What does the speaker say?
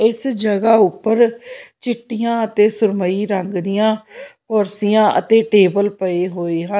ਇਸ ਜਗ੍ਹਾ ਉੱਪਰ ਚਿੱਟੀਆਂ ਅਤੇ ਸੁਰਮਈ ਰੰਗ ਦੀਆਂ ਕੁਰਸੀਆਂ ਅਤੇ ਟੇਬਲ ਪਏ ਹੋਏ ਹਨ।